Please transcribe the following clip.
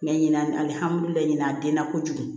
Mɛ ɲinan alihamidulilayi a den na kojugu